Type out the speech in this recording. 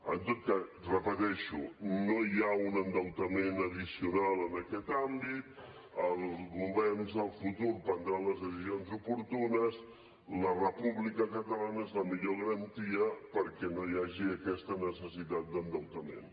en tot cas ho repeteixo no hi ha un endeutament addicional en aquest àmbit els governs del futur prendran les decisions oportunes la república catalana és la millor garantia perquè no hi hagi aquesta necessitat d’endeutament